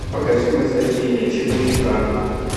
покажи восхождение четыре ка